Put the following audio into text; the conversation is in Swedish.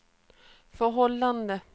förhållanden